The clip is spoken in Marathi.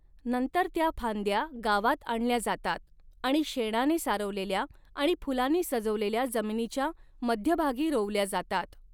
नंतर त्या फांद्या गावात आणल्या जातात आणि शेणाने सारवलेल्या आणि फुलांनी सजवलेल्या जमिनीच्या मध्यभागी रोवल्या जातात.